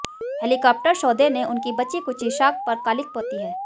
helicopter सौदे ने उसकी बची खुची साख पर कालिख पोती है